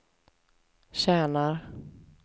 tjänar